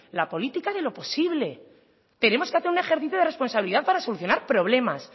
la política de lo posible tenemos que hacer un ejercicio de responsabilidad para solucionar problemas